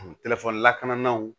telefɔni lakanaw